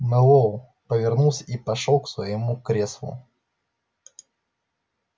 мэллоу повернулся и пошёл к своему креслу